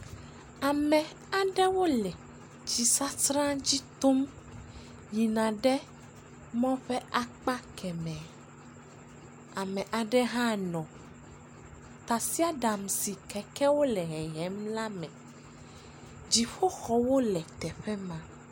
Ame aɖewo le tsisasra dzi tom yina ɖe mɔ ƒe akpa kemɛ. Ame aɖe hã nɔ tasiaɖam si kekewo le hehem la me. Dziƒoxɔwo le teƒe ma.